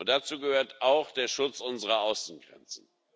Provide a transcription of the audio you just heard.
Dazu gehört auch der Schutz unserer Außengrenzen.